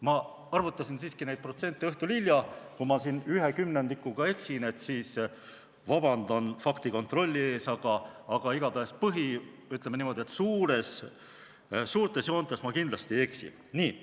Ma arvutasin neid protsente õhtul hilja, kui ma siin 1/10-ga eksin, siis vabandan faktikontrolli ees, aga igatahes suurtes joontes ma kindlasti ei eksi.